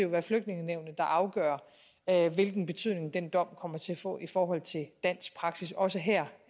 være flygtningenævnet der afgør hvilken betydning den dom kommer til at få i forhold til dansk praksis også her